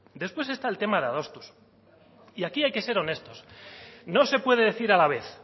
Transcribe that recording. después está el tema de adostuz y aquí hay que ser honestos no se puede decir a la vez